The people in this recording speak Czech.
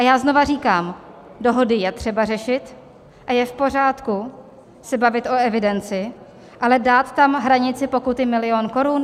A já znova říkám, dohody je třeba řešit a je v pořádku se bavit o evidenci, ale dát tam hranici pokuty milion korun?